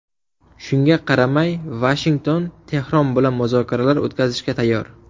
Shunga qaramay, Vashington Tehron bilan muzokaralar o‘tkazishga tayyor.